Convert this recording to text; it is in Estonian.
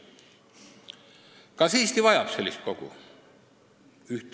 Kas Eesti vajab sellist kogu?